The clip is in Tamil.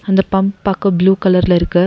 அந்தப் பம்ப் பாக்க ப்ளூ கலர்ல இருக்கு.